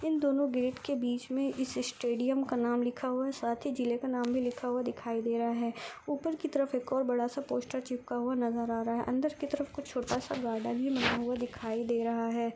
इन दोनों गेट के बीच मे स्टेडियम इस का नाम लिखा हुआ है साथ ही जिले का नाम भी लिखा हुआ दिखाई दे रहा है ऊपर की तरफ एक और बड़ा सा पोस्टर चिपका हुआ नज़र आ रहा है अंदर की तरफ कुछ छोटा सा गार्डन भी लिया हुआ दिखाई दे रहा है।